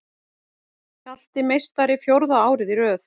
Hjalti meistari fjórða árið í röð